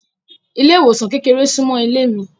Ile-iwosan kékeré sunmọ ilé mi.